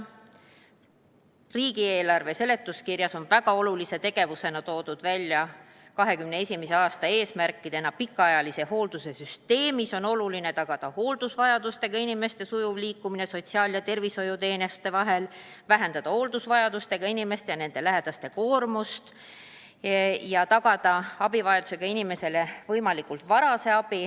Riigieelarve seletuskirjas on oluliste tegevustena 2021. aasta eesmärkide täitmiseks toodud järgmised punktid: "Pikaajalise hoolduse süsteemis on oluline tagada hooldusvajadusega inimeste sujuv liikumine sotsiaal- ja tervishoiuteenuste vahel, vähendada hooldusvajadusega inimeste ja nende lähedaste koormust asjaajamisel ja tagada abivajadusega inimesele abi võimalikult vara.